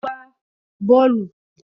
Ó má ń gbá Bọ́ọ́lù